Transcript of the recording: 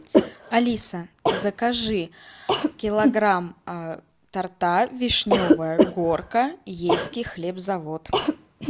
алиса закажи килограмм торта вишневая горка ейский хлебзавод